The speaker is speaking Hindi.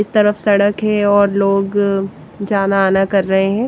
इस तरफ सड़क है और लोग जाना आना कर रहे हैं।